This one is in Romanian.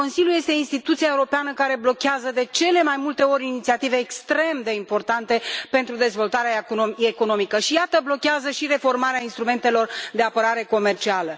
Consiliul este instituția europeană care blochează, de cele mai multe ori, inițiative extrem de importante pentru dezvoltarea economică și, iată, blochează și reformarea instrumentelor de apărare comercială.